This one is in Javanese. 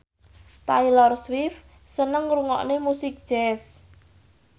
Taylor Swift seneng ngrungokne musik jazz